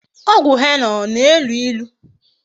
Ogwu henna o na-elu ilu?